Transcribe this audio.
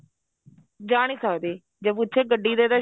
ਜਾ ਨਹੀਂ ਸਕਦੇ ਜੇ ਪੁੱਛੇ ਗੱਡੀ ਤੇ ਤਾਂ